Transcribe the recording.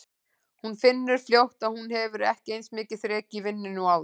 Hún finnur fljótt að hún hefur ekki eins mikið þrek í vinnunni og áður.